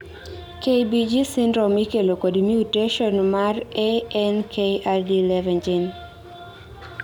KBG syndrome ikelo kod mutation mar ANKRD11 GENE